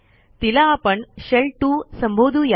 तिला आपण शेल 2 संबोधू या